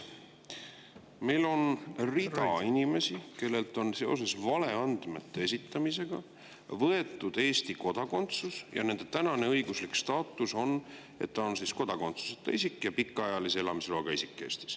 Meil on rida inimesi, kellelt on seoses valeandmete esitamisega võetud Eesti kodakondsus, ja nende tänane õiguslik staatus on, et nad on kodakondsuseta isikud ja pikaajalise elamisloaga isikud Eestis.